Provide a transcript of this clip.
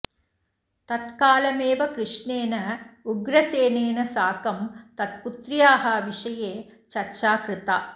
तत्कालमेव कृष्णेन उग्रसेनेन साकं तत्पुत्र्याः विषये चर्चा कृता